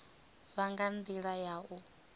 vha nga ndila ya u